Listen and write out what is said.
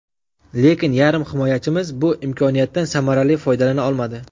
Lekin yarim himoyachimiz bu imkoniyatdan samarali foydalana olmadi.